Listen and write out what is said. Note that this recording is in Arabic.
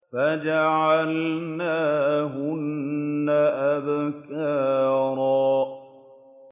فَجَعَلْنَاهُنَّ أَبْكَارًا